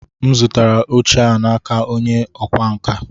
M zụtara oche a n'aka onye ọkwá nkà.